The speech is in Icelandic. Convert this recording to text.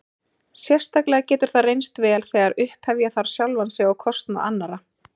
Sérstaklega getur það reynst vel þegar upphefja þarf sjálfan sig á kostnað annarra.